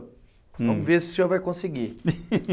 Hum, vamos ver se o senhor vai conseguir